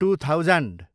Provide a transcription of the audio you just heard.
two thousand